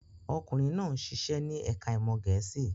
Ọkùnrin náà ṣiṣẹ́ ní ẹ̀ka-ìmọ̀ Gẹ̀ẹ́sì.